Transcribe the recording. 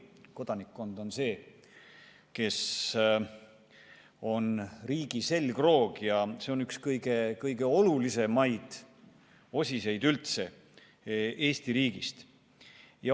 Kodanikkond on see, kes on riigi selgroog, see on üks kõige olulisemaid osiseid Eesti riigis.